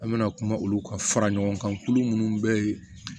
An bɛna kuma olu kan fara ɲɔgɔn kan tulu minnu bɛ yen